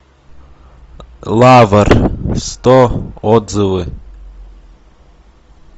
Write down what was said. лавр сто отзывы